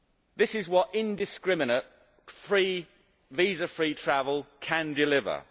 This is what indiscriminate, visa free travel can deliver.